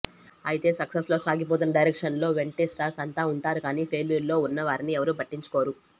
అయితే సక్సెస్లో సాగిపోతున్న డైరెక్టర్ల వెంటే స్టార్స్ అంతా ఉంటారు కానీ ఫెయిల్యూర్లో ఉన్న వారిని ఎవ్వరూ పట్టించుకోరు